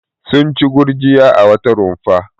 Sun ci gurjiya a wata rumfa.